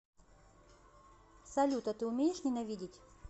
салют а ты умеешь ненавидеть